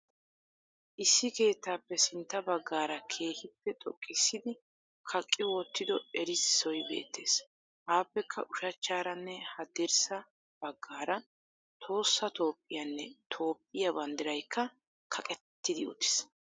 issi keettappe sintta baggaraa kehippe xoqqissidi kaqi wottido erisoy beettees aapekka ushachchaarane hadirrsaa baggara tohossa tophiyanne tophiya banddiraykka kaqetidi uttis.